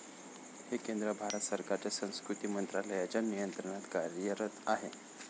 हे केंद्र, भारत सरकारच्या संस्कृती मंत्रालयाच्या नियंत्रणात कार्यरत आहे.